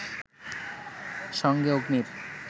সঙ্গে অগ্নির